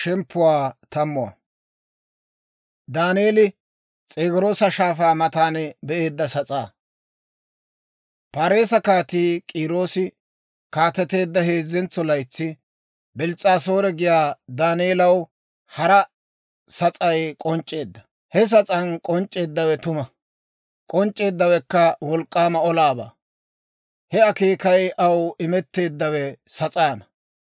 Paarise Kaatii K'iiroosi kaateteedda heezzentso laytsi, Bils's'aasoore giyaa Daaneelaw hara sas'ay k'onc'c'eedda. He sas'aan k'onc'c'eeddawe tuma; k'onc'c'eeddawekka wolk'k'aama olaabaa. He akeekay aw imetteeddawe sas'aanna.